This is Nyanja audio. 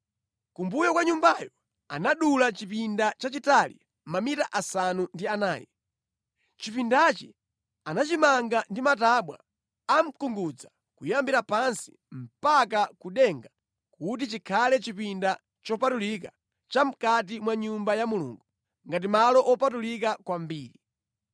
Kumbuyo kwa Nyumbayo anadula chipinda chachitali mamita asanu ndi anayi. Chipindachi anachimanga ndi matabwa a mkungudza kuyambira pansi mpaka ku denga kuti chikhale chipinda chopatulika chamʼkati mwa Nyumba ya Mulungu ngati Malo Wopatulika Kwambiri.